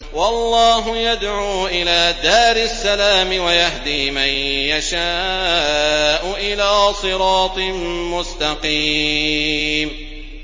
وَاللَّهُ يَدْعُو إِلَىٰ دَارِ السَّلَامِ وَيَهْدِي مَن يَشَاءُ إِلَىٰ صِرَاطٍ مُّسْتَقِيمٍ